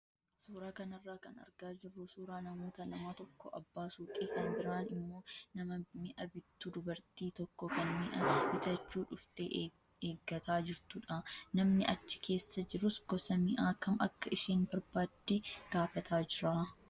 Suuraa kanarraa kan argaa jirru suuraa namoota lama tokko abbaa suuqii kan biraan immoo nama mi'a bittu dubartii tokko kan mi'a bitachuu dhuftee eeggataa jirtudha. Namni achi keessa jirus gosa mi'aa kam akka isheen barbaadde gaafataa jira.